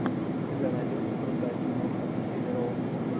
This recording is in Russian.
у тебя найдется крутая киноха в стиле роуд муви